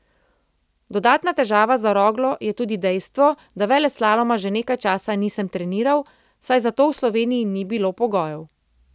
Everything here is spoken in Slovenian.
Dodatna težava za Roglo je tudi dejstvo, da veleslaloma že nekaj časa nisem treniral, saj za to v Sloveniji ni bilo pogojev.